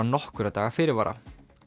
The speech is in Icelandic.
nokkurra daga fyrirvara